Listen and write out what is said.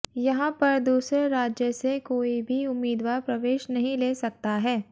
यहां पर दूसरे राज्य से कोई भी उम्मीदवार प्रवेश नहीं ले सकता है